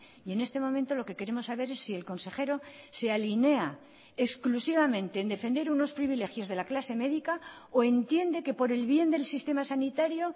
y en este momento lo que queremos saber es sí el consejero se alinea exclusivamente en defender unos privilegios de la clase médica o entiende que por el bien del sistema sanitario